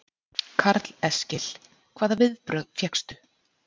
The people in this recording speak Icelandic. Karl Eskil: Hvaða viðbrögð fékkstu?